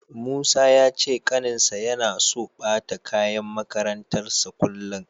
Musa ya ce ƙaninsa yana so ɓata kayan makarantarsa kullum.